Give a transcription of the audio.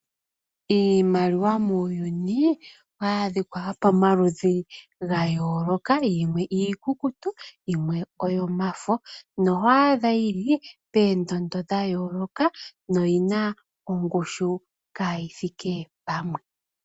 Iimaliwa muuyuni, oyili pamaludhi ga yooloka, yilwe ikukutu, na yilwe oyomafo. Oho adha yili poondondo dha yooloka, na oyina ongushu kayi thike pamwe.